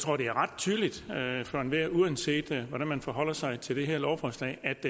tror at det er ret tydeligt for enhver uanset hvordan man forholder sig til det her lovforslag at